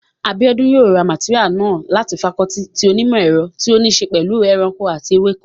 Abíọ́dún yóò ra màtéríà náà láti fakọọti ti onímọ̀ ẹ̀rọ tí ó ní ṣe pẹ̀lú ẹ̀kọ́ ẹranko àti ewéko